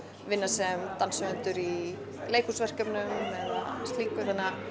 vinna sem danshöfundur í leikhúsverkefnum eða slíku